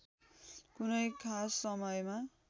कुनै खास समयमा